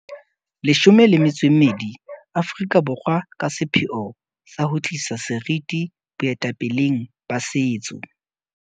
12 Aforika Borwa ka sepheo sa ho tlisa seriti boetapeleng ba setso.